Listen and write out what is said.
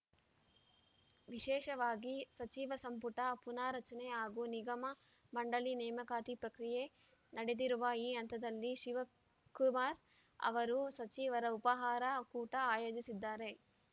ವಿಶೇಷವಾಗಿ ಸಚಿವ ಸಂಪುಟ ಪುನಾರಚನೆ ಹಾಗೂ ನಿಗಮ ಮಂಡಳಿ ನೇಮಕಾತಿ ಪ್ರಕ್ರಿಯೆ ನಡೆದಿರುವ ಈ ಹಂತದಲ್ಲಿ ಶಿವಕುಮಾರ್‌ ಅವರು ಸಚಿವರ ಉಪಾಹಾರ ಕೂಟ ಆಯೋಜಿಸಿದ್ದಾರೆ